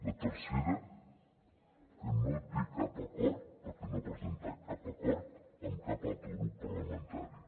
la tercera que no té acord perquè no ha presentat cap acord amb cap altre grup parlamentari